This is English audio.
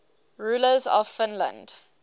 rulers of finland